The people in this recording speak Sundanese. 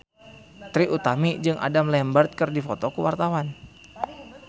Trie Utami jeung Adam Lambert keur dipoto ku wartawan